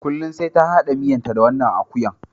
Kullum sai ta hada miyanta da naman akuya.